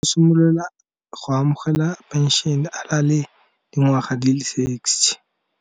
Simolola go amogela penšene a na le le dingwaga di le sixty.